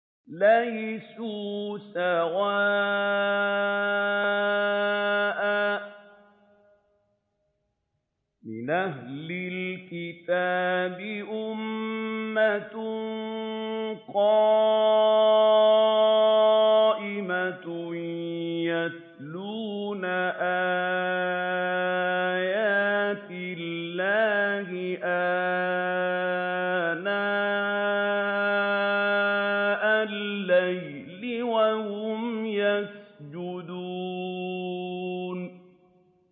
۞ لَيْسُوا سَوَاءً ۗ مِّنْ أَهْلِ الْكِتَابِ أُمَّةٌ قَائِمَةٌ يَتْلُونَ آيَاتِ اللَّهِ آنَاءَ اللَّيْلِ وَهُمْ يَسْجُدُونَ